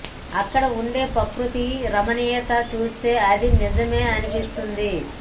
అక్కడ ఉండే ప్రకృతి రమణీయత చూస్తే అది నిజమే అనిపిస్తుంది